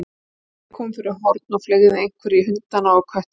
Laufey kom fyrir horn og fleygði einhverju í hundana og köttinn.